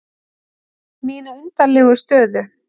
Mína undarlegu stöðu.